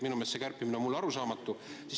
Mulle on see kärpimine arusaamatu.